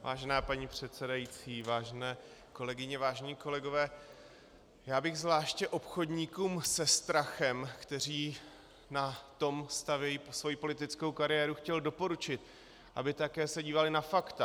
Vážená paní předsedající, vážené kolegyně, vážení kolegové, já bych zvláště obchodníkům se strachem, kteří na tom stavějí svoji politickou kariéru, chtěl doporučit, aby také se dívali na fakta.